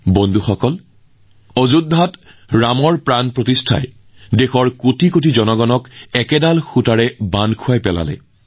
বন্ধুসকল অযোধ্যাত প্ৰাণ প্ৰতিষ্ঠা উপলক্ষে দেশৰ কোটি কোটি জনসাধাৰণক একেলগে বান্ধি ৰাখিছে